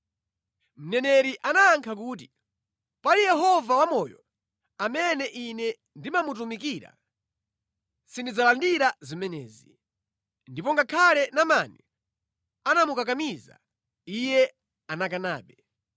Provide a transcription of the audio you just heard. Mneneri anayankha kuti, “Pali Yehova wamoyo, amene ine ndimamutumikira, sindidzalandira zimenezi.” Ndipo ngakhale Naamani anamukakamiza, iye anakanabe.